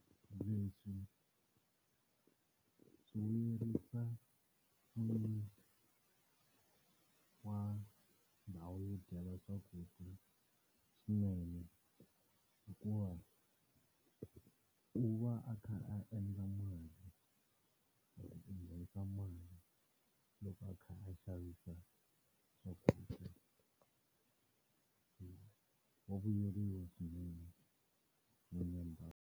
Lebyi swi vuyerisa n'wini wa ndhawu yo dyela swakudya swinene hikuva, u va a kha a endla mali loko a kha a xavisa swakudya. Wa vuyeriwa swinene n'wini wa .